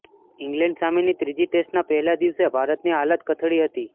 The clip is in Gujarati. ઈંગ્લેન્ડ સામેની ત્રીજી ટેસ્ટના પહેલા દિવસે ભારતની હાલત કથળી હતી